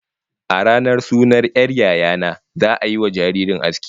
A ranar sunan 'yar yaya na, za'a yiwa jaririyar aski